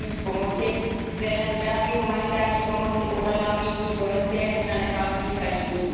daní z pomoci, které na dodávky humanitární pomoci uvalila místní policie na nepálských hranicích.